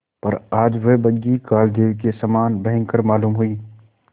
पर आज वह बग्घी कालदेव के समान भयंकर मालूम हुई